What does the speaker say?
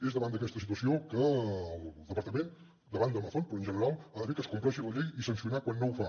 és davant d’aquesta situació que el departament davant d’amazon però en general ha de fer que es compleixi la llei i sancionar quan no es fa